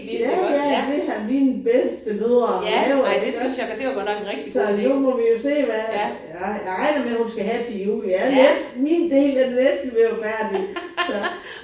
Ja ja det har mine bedstemødre lavet iggås. Så nu må vi jo se hvad jeg jeg regner hun skal have til jul det er næsten min del den er næsten ved at være færdig så